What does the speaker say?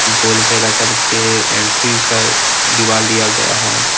गोल घेरा करके एंट्री का दिवाल दिया गया है ।